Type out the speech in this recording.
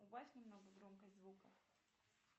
убавь немного громкость звука